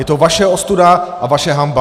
Je to vaše ostuda a vaše hanba!